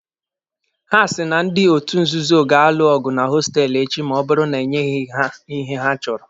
Ha si na ndị otu nzuzo ga-alụ ọgụ na hostelụ echi ma ọ bụrụ na enyeghị ha ihe ha chọrọ.